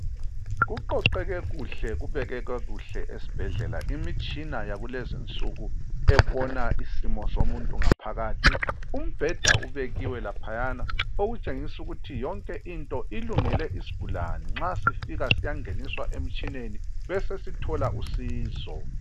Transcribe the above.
Kuqoqeke kuhle kubekeke kuhle esibhedlela imitshina yakulezi insuku ebona isimo somuntu ngaphakathi, umbheda ubekiwe laphayana okutshengisa ukuthi yonke into ilungele isigulane, nxa sifika siyangeniswa emitshineni besesithola usizo.